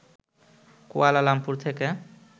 Kuala Lumpur থেকে